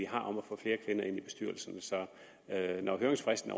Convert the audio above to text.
har om at få flere i kvinder ind i bestyrelserne så når høringsfristen